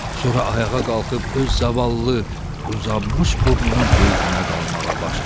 Sonra ayağa qalxıb öz zavallı uzanmış burnunun qeydinə qalmağa başladı.